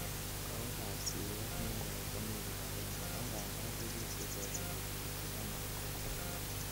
Kowekab siyet newo komi kipagenge angadan tebie sikolebelitu anan kopcheak.